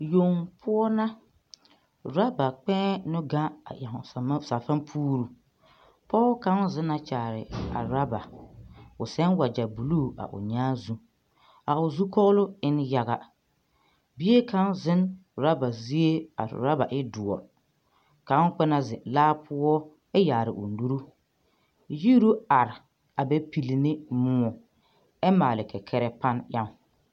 Yoŋ poɔ na urɔba kpɛɛ nu ɡaŋ a eŋ safanfuure pɔɔ kaŋ zena kyaare a urɔba o sɛn waɡyɛ buluu a o nyaa zu a o zukɔɔloŋ e na yaɡa bie kaŋ zeŋ urɔba zie a urɔba e doɔ kaŋ kpɛ na zeŋ laa poɔ a yaare o nuri yiru are a bɛ pili ne moɔ ɛ maale kɛkɛrɛɛ pane eŋ.